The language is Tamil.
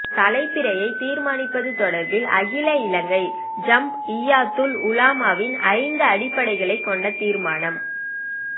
தலைப்பிறையைத் தீர்மானிப்பது தொடர்பில் அகில இலங்கை ஜம்இய்யத்துல் உலமாவின் ஐந்து அடிப்படைகளைக் கொண்ட தீர்மானம்